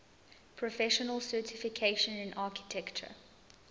professional certification in architecture